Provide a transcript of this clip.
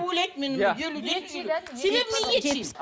ойлайды мені себебі мен ет жеймін